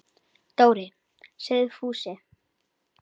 Dóri! sagði Fúsi.